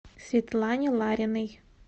светлане лариной